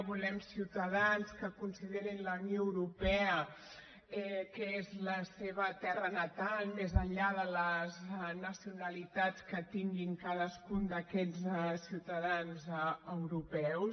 volem ciutadans que considerin que la unió europea és la seva terra natal més enllà de les nacionalitats que tinguin cadascun d’aquests ciutadans europeus